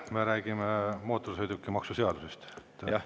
Me räägime mootorsõidukimaksu seadusest.